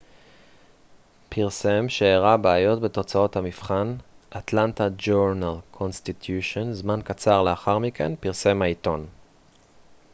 זמן קצר לאחר מכן פרסם העיתון atlanta journal-constitution פרסם שהראה בעיות בתוצאות המבחן